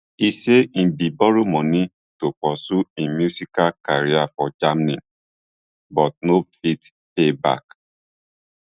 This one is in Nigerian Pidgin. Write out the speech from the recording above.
e say im bin borrow money to pursue im musical career for germany but no fit pay back